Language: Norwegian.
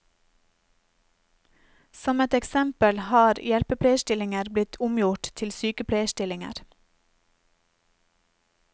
Som et eksempel har hjelpepleierstillinger blitt omgjort til sykepleierstillinger.